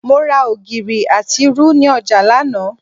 Mo ra ògìrì àti irú ni ọjà lánàá